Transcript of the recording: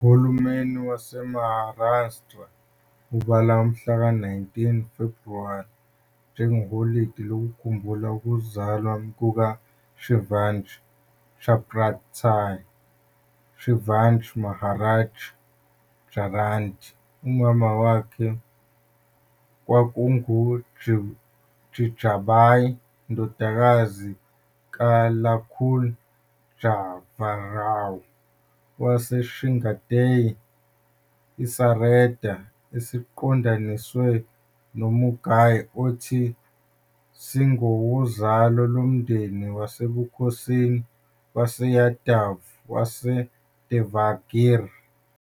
Uhulumeni waseMaharashtra ubala umhlaka-19 Febhuwari njengeholide lokukhumbula ukuzalwa kukaShivaji, Chhatrapati Shivaji Maharaj Jayanti. Umama wakhe kwakunguJijabai, indodakazi kaLakhuji Jadhavrao waseSindhkhed, isareda esiqondaniswe noMughal othi singowozalo lomndeni wasebukhosini waseYadav waseDevagiri.